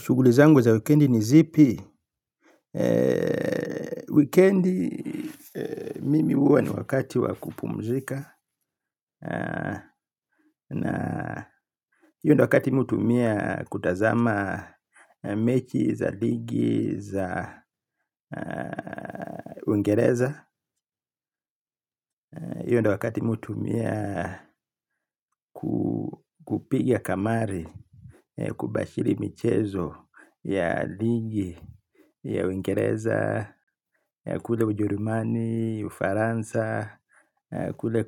Shugulizangu za wikendi ni zipi. Wikendi mimi uwa ni wakati wakupumzika. Na hio ndio wakati mtu hutumia kutazama mechi za ligi za wengereza. Iyo ndo wakati mi hutumia kupiga kamari, kubashiri michezo ya ligi, ya wengereza, kule ujerumani, ufaransa, kule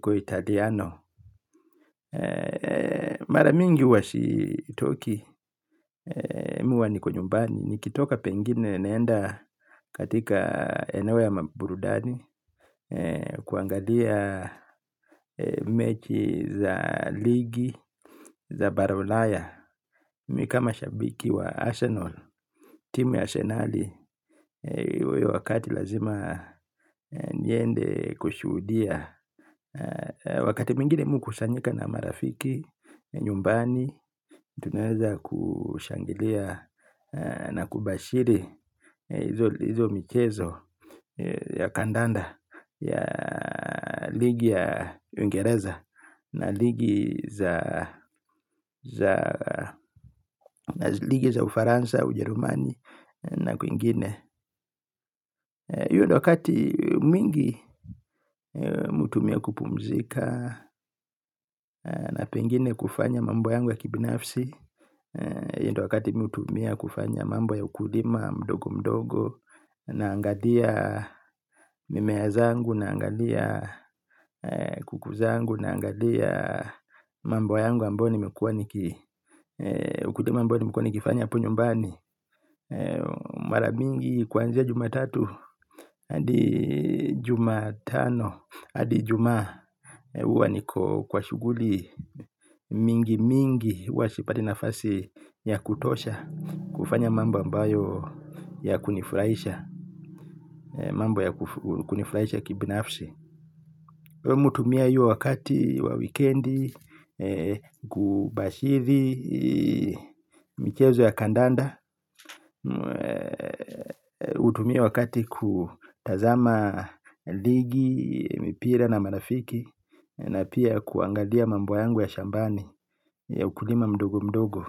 kwa italiano. Maramingi hua sitoki mi huwa niko nyumbani. Nikitoka pengine naenda katika eneo ya maburudani. Kuangalia mechi za ligi za barulaya. Mikama shabiki wa Arsenal, timu ya senali. Uwe wakati lazima niende kushuhudia. Wakati mwingine mi huku sanyika na marafiki nyumbani. Tunaweza kushangilia na kubashiri izo michezo ya kandanda ya ligi ya Uingereza na ligi za ufaransa ujerumani na kwingine hio ndo wakati mingi mi hutumia kupumzika na pengine kufanya mambo yangu ya kibinafsi hio ndo wakati mi hutumia kufanya mambo ya ukulima mdogo mdogo. Na angalia mimeazangu na angalia kukuzangu na angalia mambo yangu ambayo nimekua nikifanya hapo nyumbani. Mara mingi kwanzia jumatatu adi jumatano adi ijumaa. Uwa niko kwa shuguli. Mingi mingi uwa sipati nafasi ya kutosha kufanya mambo ambayo ya kunifraisha. Mambo ya kunifraisha kibinafsi. Uwa mutumia iyo wakati, wawikendi. Kubashithi michezo ya kandanda. Utumia wakati kutazama ligi, mipira na marafiki. Na pia kuangalia mambo yangu ya shambani ya ukulima mdogo mdogo.